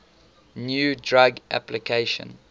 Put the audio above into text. new drug application